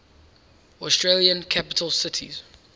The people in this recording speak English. australian capital cities